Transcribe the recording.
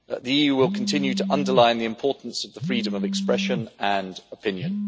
The EU will continue to underline the importance of the freedom of expression and opinion.